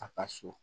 A ka so